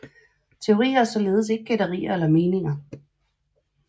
Teorier er således ikke gætterier eller meninger